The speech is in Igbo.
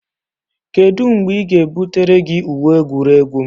Kedu mgbe ị ga-ebutere gị uwe egwuregwu m?